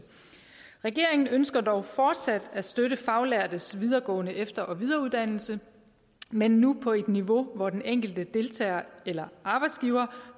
regeringen ønsker dog fortsat at støtte faglærtes videregående efter og videreuddannelse men nu på et niveau hvor den enkelte deltager eller arbejdsgiver